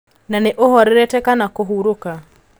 Na nĩ ũhorerete kana kũhurũka?